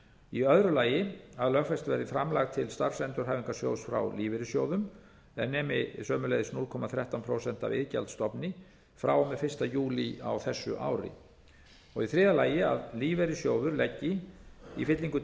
í öðru lagi að lögfest verði framlag til starfsendurhæfingarsjóðs frá lífeyrissjóðum er nemi sömuleiðis núll komma þrettán prósent af iðgjaldsstofni króna iðgjald a stofni frá og með fyrsta júlí á þessu ári í þriðja lagi að lífeyrissjóður leggi í fyllingu